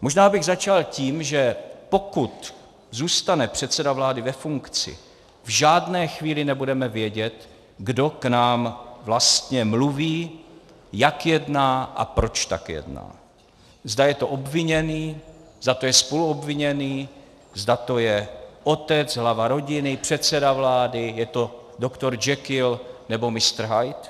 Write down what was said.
Možná bych začal tím, že pokud zůstane předseda vlády ve funkci, v žádné chvíli nebudeme vědět, kdo k nám vlastně mluví, jak jedná a proč tak jedná, zda je to obviněný, zda to je spoluobviněný, zda to je otec, hlava rodiny, předseda vlády, je to doktor Jekyll, nebo mistr Hyde.